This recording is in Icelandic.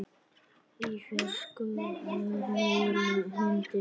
Í fjarska heyrist í hundi.